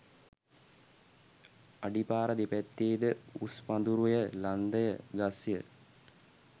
අඩිපාර දෙපැත්තේ ද උස් පඳුරුය ලන්දය ගස්ය